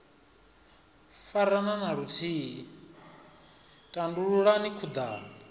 farana na luthihi tandululani khudano